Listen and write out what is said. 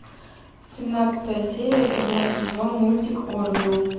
семнадцатая серия седьмой сезон мультик орвилл